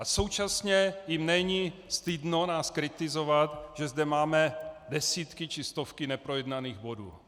A současně jim není stydno nás kritizovat, že zde máme desítky či stovky neprojednaných bodů.